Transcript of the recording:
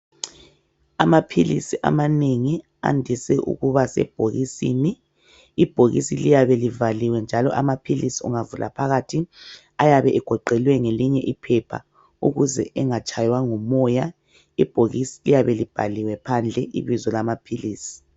Amaphilisi amanegi andise ukuba sebhokisini. Ibhokisi liyabe livaliwe njalo amaphilisi ungavula phakathi ayabe egoqelwe ngelinye iphepha ukuze engatshaywa ngumoya. Ibhokisi liyabe libhaliwe phandle ibizo lamaphilisi.